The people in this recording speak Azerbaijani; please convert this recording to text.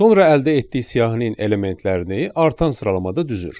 Sonra əldə etdiyi siyahının elementlərini artan sıralamada düzür.